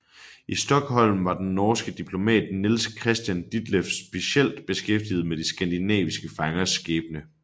I Stockholm var den norske diplomat Niels Christian Ditleff specielt beskæftiget med de skandinaviske fangers skæbne